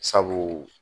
Sabu